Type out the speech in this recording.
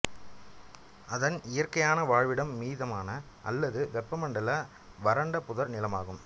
அதன் இயற்கையான வாழ்விடம் மிதமான அல்லது வெப்பமண்டல வறண்ட புதர் நிலமாகும்